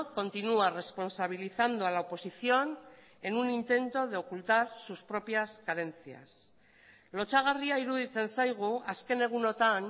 continúa responsabilizando a la oposición en un intento de ocultar sus propias carencias lotsagarria iruditzen zaigu azken egunotan